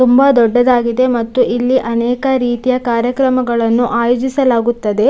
ತುಂಬಾ ದೊಡ್ಡದಾಗಿದೆ ಮತ್ತು ಅನೇಕ ರೀತಿಯ ಕಾರ್ಯಕ್ರಮಗಳನ್ನು ಆಯೋಜಿಸಲಾಗಿದೆ.